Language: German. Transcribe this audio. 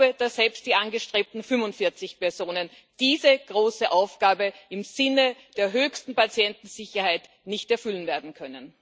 Ich glaube, dass selbst die angestrebten 45 Personen diese große Aufgabe im Sinne der höchsten Patientensicherheit nicht werden erfüllen können.